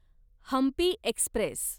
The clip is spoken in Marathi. हंपी एक्स्प्रेस